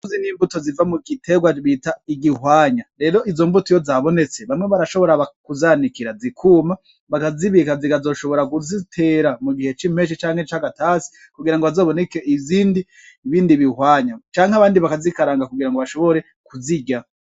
Izi n'imbuto ziva mu gitegwa bita igihwanya, rero izo mbuto iyo zabonetse, bamwe barashobora kuzanikira zikuma, bakazibika, zikazoshobora kuzitera mu gihe c'impeshi canke ca gatasi, kugira ngo hazoboneke izindi, ibindi bihwanya, canke abandi bakazikaranga kugira ngo bashobore kuzirya.